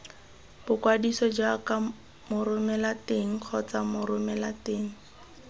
boikwadiso jaaka moromelateng kgotsa moromelateng